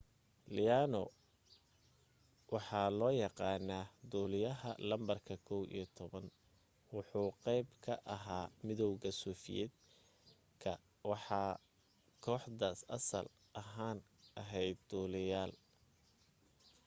leono waxaa loo yaqaana duliyaha lambarka 11 wuxuu qeyb ka ahaa midowga soviet ka kooxda asaal ahan aheyd duliyaal